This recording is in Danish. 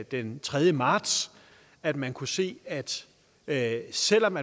den tredje marts at man kunne se at at selv om